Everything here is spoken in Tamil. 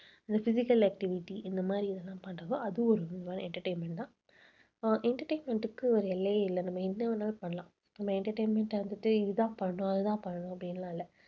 இந்த physical activity இந்த மாதிரி இதெல்லாம் பண்றப்போ அது ஒரு விதமான entertainment தான் அஹ் entertainment க்கு ஒரு எல்லையே இல்லை. நம்ம என்ன வேணாலும் பண்ணலாம். நம்ம entertainment வந்துட்டு இதுதான் பண்ணணும் அதுதான் பண்ணணும் அப்படின்னு எல்லாம் இல்லை